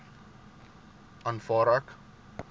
aanvaar ek